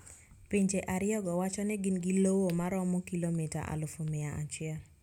Pinje ariyogo wacho ni gin gi lowo maromo kilomita alufu mia achiel